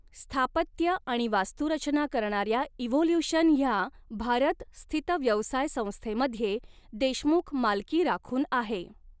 स्थापत्य आणि वास्तूरचना करणाऱ्या इव्होल्यूशन ह्या भारतस्थित व्यवसाय संस्थेमध्ये देशमुख मालकी राखून आहे.